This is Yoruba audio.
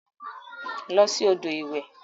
Losi odo iwe.